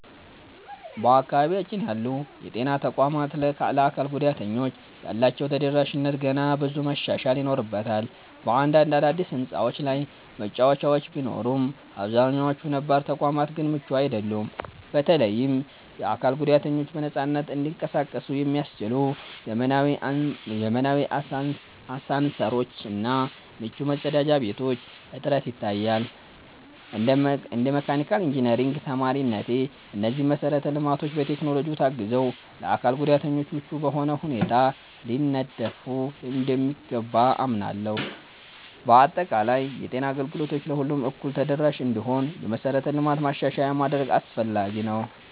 በአካባቢያችን ያሉ የጤና ተቋማት ለአካል ጉዳተኞች ያላቸው ተደራሽነት ገና ብዙ መሻሻል ይኖርበታል። በአንዳንድ አዳዲስ ሕንፃዎች ላይ መወጣጫዎች ቢኖሩም፣ አብዛኛዎቹ ነባር ተቋማት ግን ምቹ አይደሉም። በተለይም የአካል ጉዳተኞች በነፃነት እንዲንቀሳቀሱ የሚያስችሉ ዘመናዊ አሳንሰሮች እና ምቹ መጸዳጃ ቤቶች እጥረት ይታያል። እንደ መካኒካል ኢንጂነሪንግ ተማሪነቴ፣ እነዚህ መሰረተ ልማቶች በቴክኖሎጂ ታግዘው ለአካል ጉዳተኞች ምቹ በሆነ ሁኔታ ሊነደፉ እንደሚገባ አምናለሁ። በአጠቃላይ፣ የጤና አገልግሎት ለሁሉም እኩል ተደራሽ እንዲሆን የመሠረተ ልማት ማሻሻያ ማድረግ አስፈላጊ ነው።